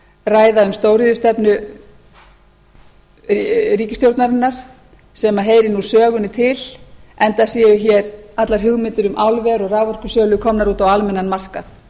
ræða um stóriðjustefnu ríkisstjórnarinnar sem heyrir nú sögunni til enda séu hér allar hugmyndir um álver og raforkusölu komnar út á almennan markað